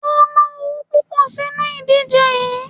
O ná owo púpọ̀ sínu ìdíje yií.